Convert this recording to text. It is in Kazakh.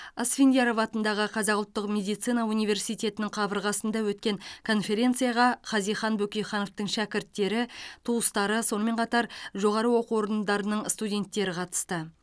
асфендияров атындағы қазақ ұлттық медицина университетінің қабырғасында өткен конференцияға хазихан бөкейхановтың шәкірттері туыстары сонымен қатар жоғары оқу орындарының студенттері қатысты